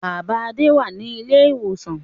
Bàbá Adé wà ní ilé-ìwòsàn.